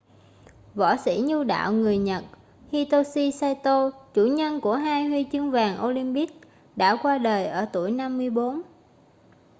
võ sĩ nhu đạo người nhật hitoshi saito chủ nhân của hai huy chương vàng olympic đã qua đời ở tuổi 54